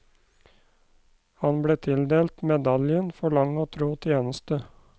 Han ble tildelt medaljen for lang og tro tjeneste.